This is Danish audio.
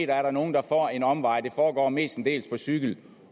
der er nogle der får en omvej det foregår mestendels på cykel